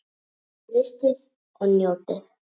Frystið og njótið.